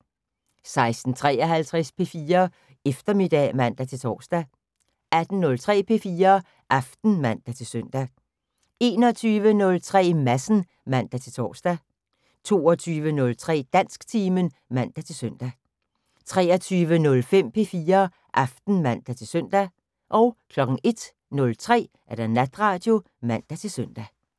16:53: P4 Eftermiddag (man-tor) 18:03: P4 Aften (man-søn) 21:03: Madsen (man-tor) 22:03: Dansktimen (man-søn) 23:05: P4 Aften (man-søn) 01:03: Natradio (man-søn)